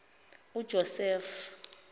ujosefu